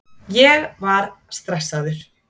Ég var stressaður.